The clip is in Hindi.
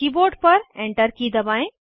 कीबोर्ड पर Enter की दबाएं